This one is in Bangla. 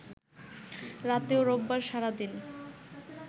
রাতে ও রোববার সারাদিন